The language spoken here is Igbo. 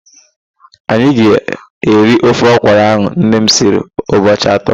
Anyị ga-eri ofe ọkwurụ ahụ nne m siri ụbọchị atọ.